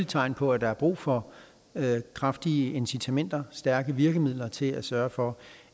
tegn på at der er brug for kraftige incitamenter og stærke virkemidler til at sørge for